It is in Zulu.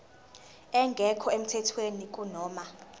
engekho emthethweni kunoma